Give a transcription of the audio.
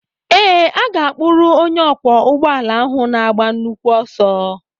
Ee, a ga-akpụrụ onye ọkwọ ụgbọala áhù na-agba nnukwu ọsọ